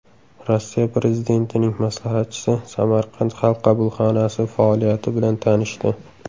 Rossiya prezidentining maslahatchisi Samarqand Xalq qabulxonasi faoliyati bilan tanishdi.